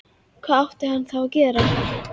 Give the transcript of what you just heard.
Hvað átti hann þá að gera?